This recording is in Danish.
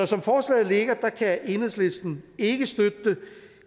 som forslaget ligger kan enhedslisten ikke støtte det